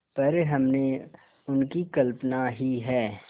पर हमने उनकी कल्पना ही है